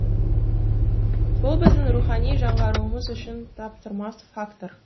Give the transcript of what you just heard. бұл біздің рухани жаңғыруымыз үшін таптырмас фактор